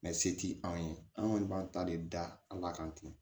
se ti anw ye an kɔni b'an ta de da an la kan ten